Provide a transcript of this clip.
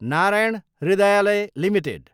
Narayan Hrudayalaya Ltd